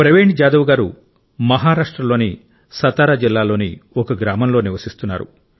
ప్రవీణ్ జాదవ్ గారు మహారాష్ట్రలోని సతారా జిల్లాలోని ఒక గ్రామంలో నివసిస్తున్నారు